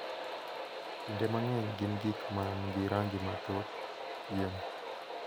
Kinde mang’eny gin gik ma nigi rangi mathoth, pien,